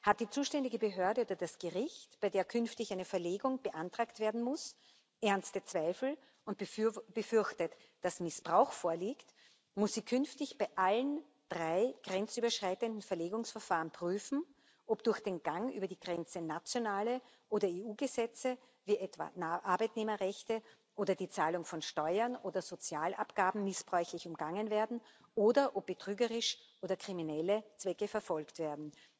Hat die zuständige Behörde oder das Gericht, bei der künftig eine Verlegung beantragt werden muss, ernste Zweifel und befürchtet, dass Missbrauch vorliegt, muss sie künftig bei allen drei grenzüberschreitenden Verlegungsverfahren prüfen, ob durch den Gang über die Grenze nationale oder EU Gesetze, wie etwa Arbeitnehmerrechte oder die Zahlung von Steuern oder Sozialabgaben, missbräuchlich umgangen werden oder ob betrügerische oder kriminelle Zwecke verfolgt werden.